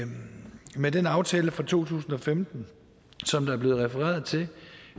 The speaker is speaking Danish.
med den aftale fra to tusind og femten som der er blevet refereret til